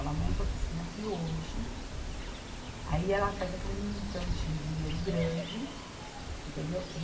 Ela monta a oficina aqui hoje, aí ela faz aquele montante em dinheiro grande, entendeu?